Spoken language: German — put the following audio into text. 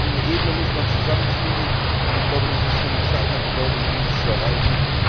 Diese beiden Ebenen muss man zusammenfügen, und ich glaube, es ist von entscheidender Bedeutung, das zu erreichen.